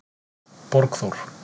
Borgþór